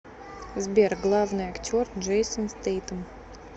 сбер главный актер джейсон стэйтем